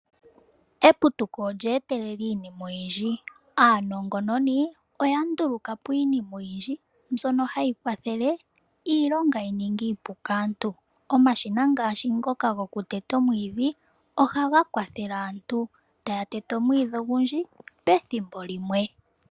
Eputuko olye etelela iinima oyindji. Aanongononi oya ndulukapo iinima mbyono hayi kwathele iilonga yi ninge iipu kaantu. Omashina ngaashi ngoka haga tete omwiidhi, ohaga kwathele aantu okuteta omwiidhi pethimbo limwe.